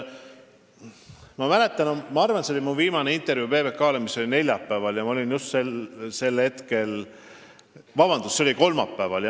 Ma mäletan, et minu viimane intervjuu PBK-le oli kolmapäeval.